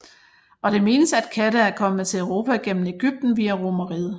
Og det menes at katte er kommet til Europa gennem Egypten via Romerriget